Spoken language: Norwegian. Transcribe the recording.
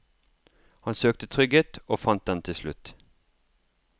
Han søkte trygghet, og fant den til slutt.